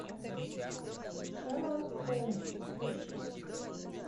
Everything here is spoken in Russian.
шерлок холмс включи